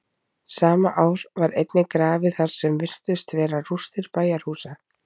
sama ár var einnig grafið þar sem virtust vera rústir bæjarhúsa